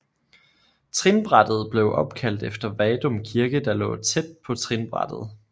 Trinbrættet blev opkaldt efter Vadum kirke der lå tæt på trinbrættet